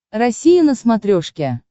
россия на смотрешке